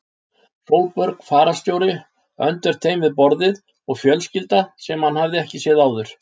Sólborg fararstjóri öndvert þeim við borðið og fjölskylda sem hann hafði ekki séð áður.